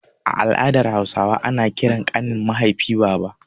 A al'adar Hausawa ana ƙiran ƙanin mahaifi baba.